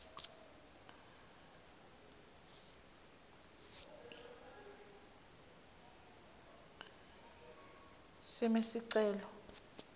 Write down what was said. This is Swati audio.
cm sicelo